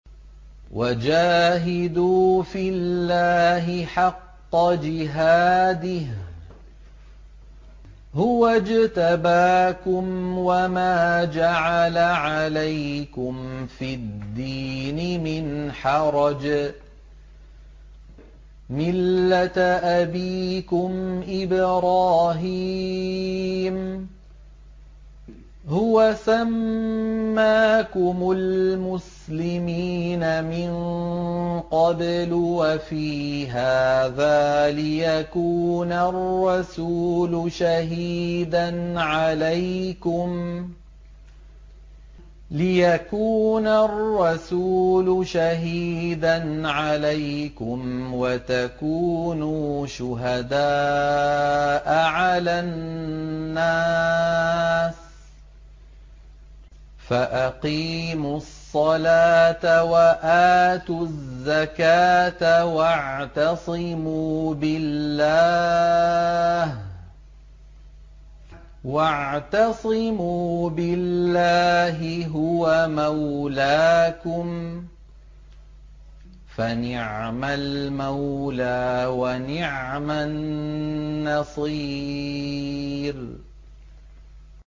وَجَاهِدُوا فِي اللَّهِ حَقَّ جِهَادِهِ ۚ هُوَ اجْتَبَاكُمْ وَمَا جَعَلَ عَلَيْكُمْ فِي الدِّينِ مِنْ حَرَجٍ ۚ مِّلَّةَ أَبِيكُمْ إِبْرَاهِيمَ ۚ هُوَ سَمَّاكُمُ الْمُسْلِمِينَ مِن قَبْلُ وَفِي هَٰذَا لِيَكُونَ الرَّسُولُ شَهِيدًا عَلَيْكُمْ وَتَكُونُوا شُهَدَاءَ عَلَى النَّاسِ ۚ فَأَقِيمُوا الصَّلَاةَ وَآتُوا الزَّكَاةَ وَاعْتَصِمُوا بِاللَّهِ هُوَ مَوْلَاكُمْ ۖ فَنِعْمَ الْمَوْلَىٰ وَنِعْمَ النَّصِيرُ